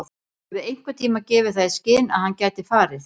Höfum við einhverntímann gefið það í skyn að hann gæti farið?